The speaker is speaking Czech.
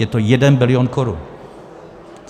Je to jeden bilion korun.